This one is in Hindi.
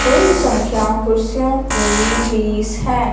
कुल संख्याओं कुर्सियों की बीस है।